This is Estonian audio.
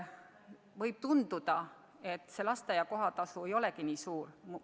Võib tunduda, et lasteaia kohatasu ei ole kuigi suur.